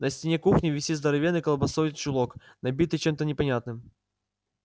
на стене кухни висит здоровенной колбасой чулок набитый чем-то непонятным